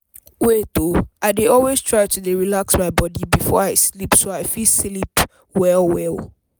wait oo— i dey always try to dey relax my body before i sleep so i fit sleep i fit sleep well well.